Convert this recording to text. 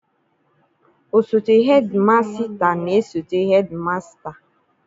Osote hedimasịta na-esote hedimasịta.